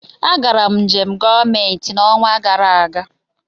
Agara m njem gọọmentị n'ọnwa gara aga.